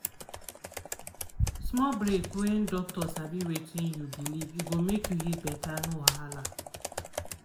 small break when docta sabi wetin you believe e go make you heal better no wahala.